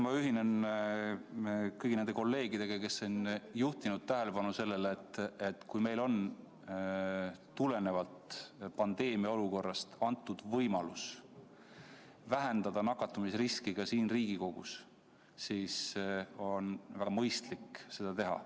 Ma ühinen kõigi nende kolleegidega, kes on juhtinud tähelepanu sellele, et kui meil on praeguses pandeemiaolukorras võimalik vähendada nakatumisriski ka siin Riigikogus, siis on väga mõistlik seda teha.